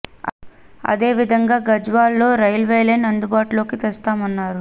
అదే విదంగా గజ్వేల్ లో రైల్వే లైన్ అందుబాటులోకి తెస్తాం అన్నారు